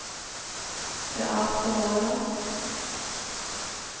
Beate Håland